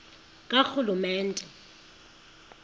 karhulumente